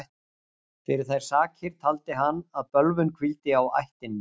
Fyrir þær sakir taldi hann að bölvun hvíldi á ættinni.